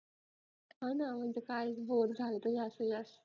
हा ना म्हणजे काय बोर झालं तर